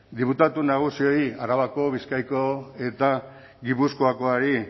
diputatu nagusiei arabako bizkaiko eta gipuzkoakoari